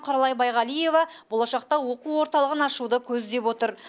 құралай байғалиева болашақта оқу орталығын ашуды көздеп отыр